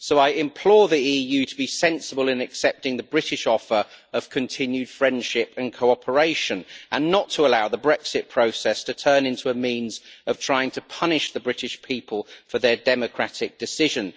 I implore the EU to be sensible in accepting the British offer of continued friendship and cooperation and not to allow the Brexit process to turn into a means of trying to punish the British people for their democratic decision.